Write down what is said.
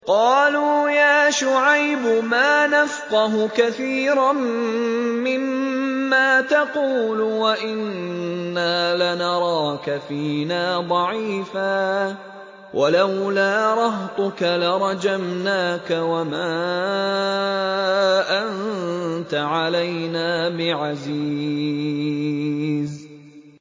قَالُوا يَا شُعَيْبُ مَا نَفْقَهُ كَثِيرًا مِّمَّا تَقُولُ وَإِنَّا لَنَرَاكَ فِينَا ضَعِيفًا ۖ وَلَوْلَا رَهْطُكَ لَرَجَمْنَاكَ ۖ وَمَا أَنتَ عَلَيْنَا بِعَزِيزٍ